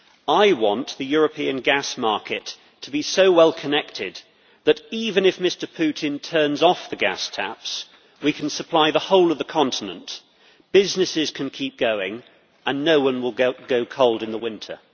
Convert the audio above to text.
I want the European gas market to be so well connected that even if Mr Putin turns off the gas taps, we can supply the whole of the continent, businesses can keep going and no one will go cold in the winter.